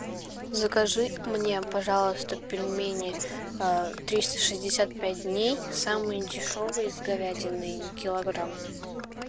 закажи мне пожалуйста пельмени а триста шестьдесят пять дней самые дешевые с говядиной килограмм